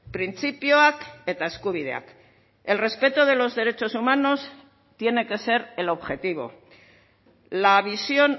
printzipioak eta eskubideak el respeto de los derechos humanos tiene que ser el objetivo la visión